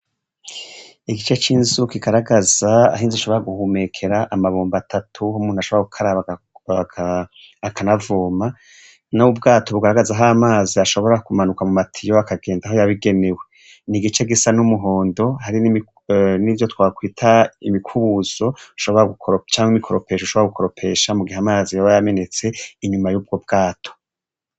Igice c'inzu gigaragaza ahinze shobora guhumekera amabumba atatu ho umuntu ashobora kukarabagaka akanavuma n' ubwato bugaragaza aho amazi ashobora kumanuka mu matiyo akagenda aho yabigenewe ni igice gisa n'umuhondo hari n'ivyo twakwita imikubuzo shobora gukor camke mikoroo ropesha usho bra gukoropesha mu gihe amarazi boba yamenetse inyuma yubwo bwato.